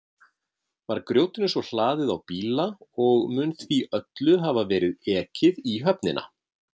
Var grjótinu svo hlaðið á bíla og mun því öllu hafa verið ekið í höfnina.